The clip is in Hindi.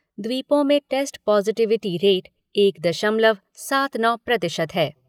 द्वीपों में टेस्ट पॉज़िटिविटी रेट एक दशमलव सात नौ प्रतिशत है।